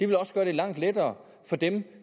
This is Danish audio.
vil også gøre det langt lettere for dem